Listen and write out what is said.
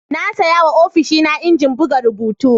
Na sayawa ofishina injin buga rubutu.